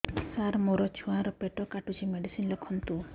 ସାର ମୋର ଛୁଆ ର ପେଟ କାଟୁଚି ମେଡିସିନ ଲେଖନ୍ତୁ